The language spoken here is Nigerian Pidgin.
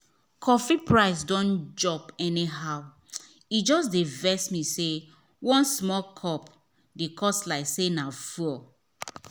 coffee price don jump anyhow e just dey vex me say one small cup dey cost like say na fuel.